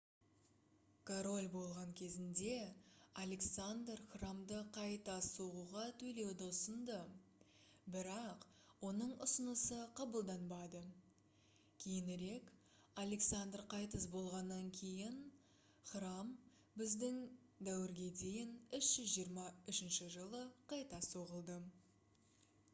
король болған кезінде александр храмды қайта соғуға төлеуді ұсынды бірақ оның ұсынысы қабылданбады кейінірек александр қайтыс болғаннан кейін храм б.д.д. 323 жылы қайта соғылды